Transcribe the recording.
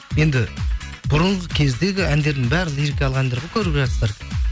енді бұрынғы кездегі әндердің бәрі лирикалық әндер ғой көріп жатсыздар